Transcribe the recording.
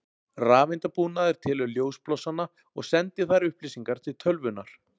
Rafeindabúnaður telur ljósblossana og sendir þær upplýsingar til tölvunnar.